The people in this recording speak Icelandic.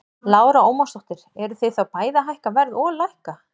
Lára Ómarsdóttir: Eruð þið þá bæði að hækka verð og lækka?